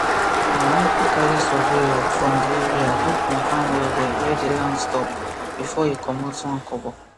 my uncle carry surveyor from di area go confirm wellwell where di land stop before he comot one kobo